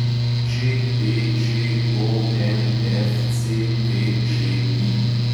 ČPČONFCTČI